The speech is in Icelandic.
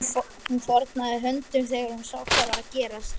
Hún fórnaði höndum þegar hún sá hvað var að gerast.